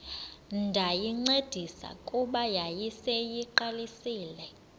ndayincedisa kuba yayiseyiqalisile